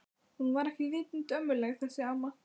Hún var ekki vitund ömmuleg þessi amma.